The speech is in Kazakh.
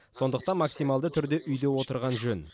сондықтан максималды түрде үйде отырған жөн